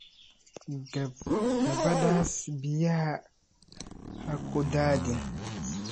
Gabadhaas biyaha ha ku daadin.